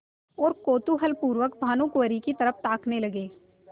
और कौतूहलपूर्वक भानुकुँवरि की तरफ ताकने लगे